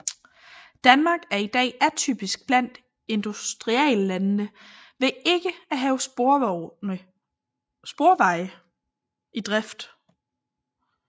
Danmark er i dag atypisk blandt industrilandene ved ikke at have sporveje i drift